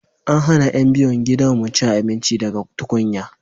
an hana yan biyun gidan mu cin abinci daga tukunya